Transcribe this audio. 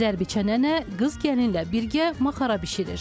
Zərb içən nənə qız gəlinlə birgə maxara bişirir.